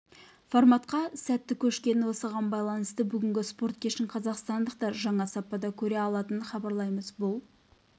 форматқа сәтті көшкенін осыған байланысты бүгінгі спорт кешін қазақстандықтар жаңа сапада көре алатынын хабарлаймыз бұл